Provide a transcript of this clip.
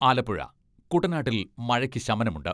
ആലപ്പുഴ, കുട്ടനാട്ടിൽ മഴയ്ക്ക് ശമനമുണ്ട്.